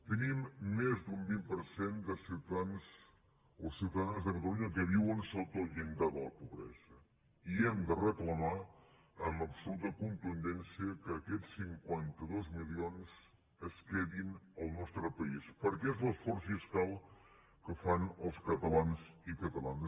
tenim més d’un vint per cent de ciutadans o ciutada·nes de catalunya que viuen sota el llindar de la pobre·sa i hem de reclamar amb l’absoluta contundència que aquests cinquanta dos milions es quedin en el nostre país perquè és l’esforç fiscal que fan els catalans i catalanes